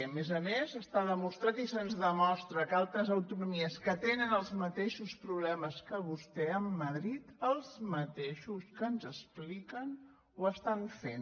a més a més està demostrat i se’ns demostra que altres autonomies que tenen els mateixos problemes que vostè amb madrid els mateixos que ens expliquen ho estan fent